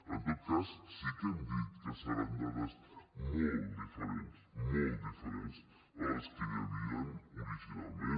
en tot cas sí que hem dit que seran dades molt diferents molt diferents a les que hi havien originalment